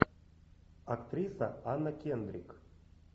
актриса анна кендрик